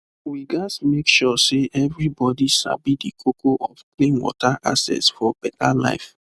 we gats make sure say everybody sabi the koko of clean water access for better life